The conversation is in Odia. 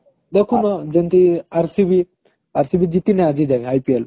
ଦେଖୁନ ଯେମିତି RCB RCB ଜିତିନି ଆଗା ଆଜି ଯାଏଁ IPL